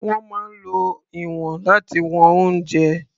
Wọ́n máa ń lo ìwọ̀n láti wọn oúnjẹ.